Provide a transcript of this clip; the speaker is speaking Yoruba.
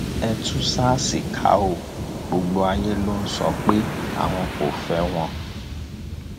ẹ tú sars ká o gbogbo ayé ló sọ pé àwọn kò fẹ wọn